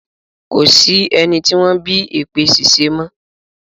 Ko sí ẹni tí wọ́n bí èpè ṣíṣẹ́ mọ́.